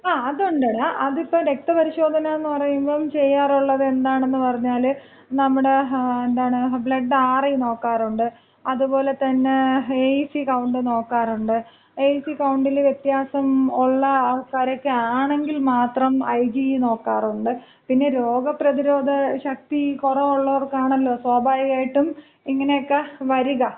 ങാ അതൊണ്ടടാ. അതിപ്പോ രക്തപരിശോധന എന്ന് പറയുമ്പോ ചെയ്യാറുള്ളത് എന്താണെന്നുപറഞ്ഞാല്, നമ്മുടെ, എന്താണ്, ബ്ലഡ് ആർ.ഇ. നോക്കാറുണ്ട് അത് പോലെ തന്നെ എ.ഇ.സി. കൗണ്ട് നോക്കാറുണ്ട്. എ.ഇ.സി. കൗണ്ടില് വിത്യാസം ഉള്ള ആൾക്കാരക്കെയാണെങ്കിൽ മാത്രം ഐ.ജി.ഇ. നോക്കാറുണ്ട്. പിന്നെ രോഗപ്രതിരോധശക്തി കുറവുള്ളോർക്കാണല്ലോ സ്വാഭാവികമായിട്ടും ഇങ്ങനെയാക്ക വരിക.